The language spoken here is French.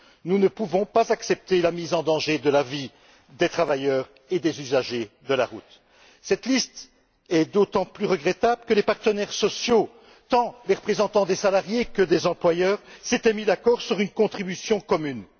Nous ne pouvons pas accepter la mise en danger de la vie des travailleurs et des usagers de la route! Ces lacunes sont d'autant plus regrettables que les partenaires sociaux, les représentants tant des salariés que des employeurs, s'étaient mis d'accord sur une contribution commune.